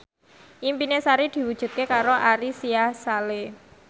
impine Sari diwujudke karo Ari Sihasale